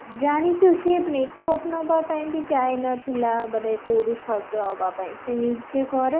ଜାଣିଛୁ ସିଏ makeup ନବା ପାଇଁ ବି ଯାଇନଥିଲା ମାନେ କୋଉଠି ସଜ ହବା ପାଇଁ ସେ ନିଜେ କରେ